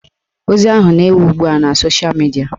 Ozi ahụ na-ewu ugbua na sosha midia